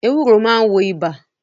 Ewúro máa ń wo ibà